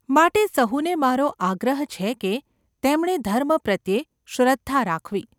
માટે સહુને મારો આગ્રહ છે કે તેમણે ધર્મ પ્રત્યે શ્રદ્ધા રાખવી.